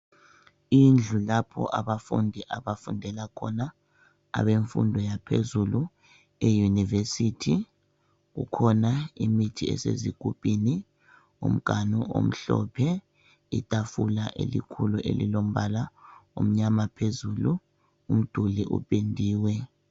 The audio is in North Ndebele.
Indlu lapho abafundi abafundela khona. Abemfundo yaphezulu, eyunivesithi, kukhona imithi esezigubhini, umganu omhlophe, itafula elikhulu elilombala omnyama phezulu, umduli upendiwe.